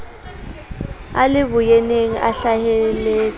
a le boyeneng a hlaheletse